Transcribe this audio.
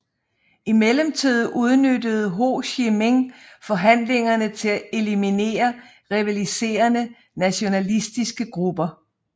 I mellemtiden udnyttede Ho Chi Minh forhandlingerne til at eliminere rivaliserende nationalistiske grupper